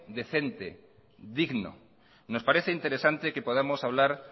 decente digno nos parece interesantes que podamos hablar